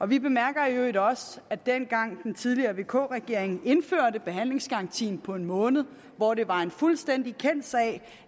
vi bemærker i øvrigt også at dengang den tidligere vk regering indførte behandlingsgarantien på en måned hvor det var en fuldstændig kendt sag